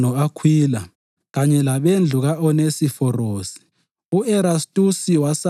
Bingelela uPhrisila lo-Akhwila kanye labendlu ka-Onesiforosi.